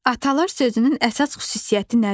Atalar sözünün əsas xüsusiyyəti nədir?